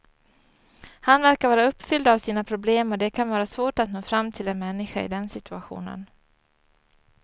Han verkar vara uppfylld av sina problem och det kan vara svårt att nå fram till en människa i den situationen.